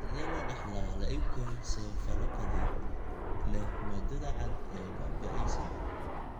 Sidee loo dhaxlaa leukoencephalopathy leh maaddada cad ee baaba'aysa?